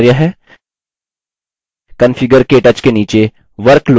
configure ktouch के नीचे workload को 2 में बदलिए